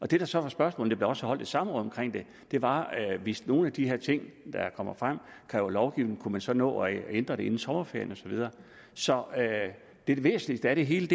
det der så var spørgsmålet der blev også holdt et samråd om det var at hvis nogle af de her ting der kom frem krævede lovgivning kunne man så nå at ændre det inden sommerferien og så videre så det væsentligste af det hele